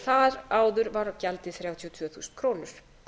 þar áður var gjaldið þrjátíu og tvö þúsund krónur